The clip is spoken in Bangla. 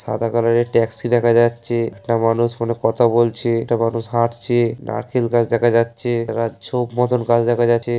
সাদা কালার -এর ট্যাক্সি দেখা যাচ্ছে-এ একটা মানুষ ফোনে কথা বলছে-এ একটা মানুষ হাঁটছে- এ নারকেল গাছ দেখা যাচ্ছে একটা ঝোপ মতন গাছ দেখা যাচ্ছে--।